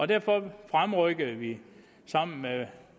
derfor fremrykkede vi sammen med